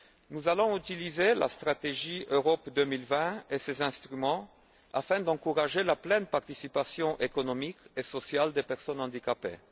Nous allons utiliser la stratégie Europe 2020 et ses instruments afin d'encourager la pleine participation économique et sociale des personnes handicapées.